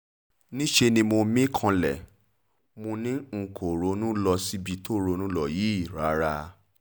níṣẹ́ ni mo mí kanlẹ̀ mo ní n kò ronú lọ síbi tó ronú lọ yìí rárá